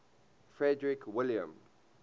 frederick william